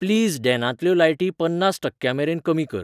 please डॅनांतल्यो लायटी पन्नास टक्क्यांमेरेन कमी कर